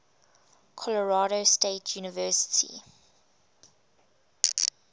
colorado state university